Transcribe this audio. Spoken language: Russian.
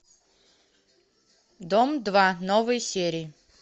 дом два новые серии